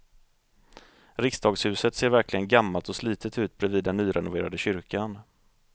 Riksdagshuset ser verkligen gammalt och slitet ut bredvid den nyrenoverade kyrkan.